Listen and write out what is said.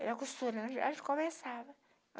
Era costura, a gente conversava.